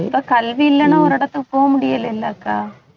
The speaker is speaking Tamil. இப்ப கல்வி இல்லைன்னா ஒரு இடத்துக்கு போக முடியலைல்லக்கா